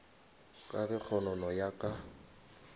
ka ge kgonono ya ka